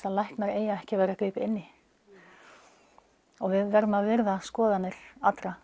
að læknar eigi ekki að vera að grípa inn í við verðum að virða skoðanir allra